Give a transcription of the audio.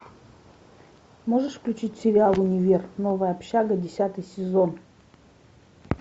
можешь включить сериал универ новая общага десятый сезон